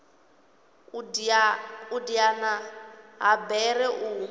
u diana ha bere u